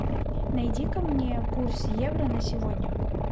найди ка мне курс евро на сегодня